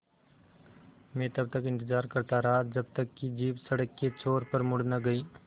मैं तब तक इंतज़ार करता रहा जब तक कि जीप सड़क के छोर पर मुड़ न गई